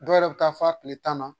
Dɔw yɛrɛ bɛ taa fɔ a tile tan na